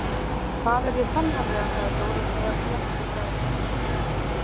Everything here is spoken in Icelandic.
Það er ég sannarlega, sagði Dórótea létt í bragði.